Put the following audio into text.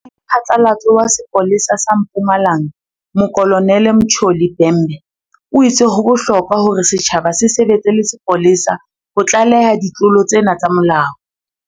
Radiphatlalatso wa sepole sa sa Mpumalanga Mokolo nele Mtsholi Bhembe o itse ho bohlokwa hore setjhaba se sebetse le sepolesa ho tlaleha ditlolo tsena tsa molao.